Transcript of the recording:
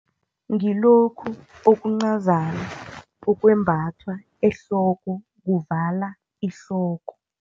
Ngilokhu okuncani okwembathwa ehloko, kuvala ihloko.